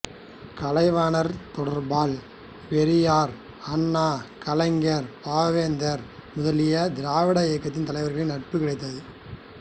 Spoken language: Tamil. கலைவாணர் தொடர்பால் பெரியார் அண்ணா கலைஞர் பாவேந்தர் முதலிய திராவிட இயக்கத் தலைவர்களின் நட்பு கிடைத்தது